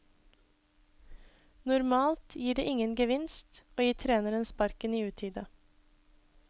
Normalt gir det ingen gevinst å gi treneren sparken i utide.